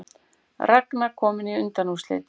Ragna komin í undanúrslitin